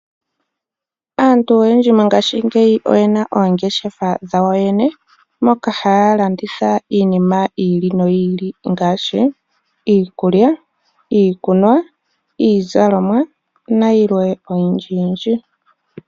Aantu oyendji mongaashingeyi oye na oongeshefa dhawo yoye ne, moka haya landitha iinima yi ili noyi ili ngaashi iikulya, iikunwa, iizalomwa na yilwe oyindji yindji.